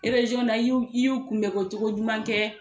I y'u kunbɛ ko cogo ɲuman kɛ.